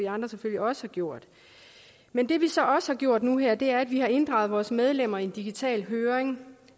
andre selvfølgelig også har gjort men det vi så også har gjort nu her er at vi har inddraget vores medlemmer i en digital høring